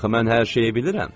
Axı mən hər şeyi bilirəm.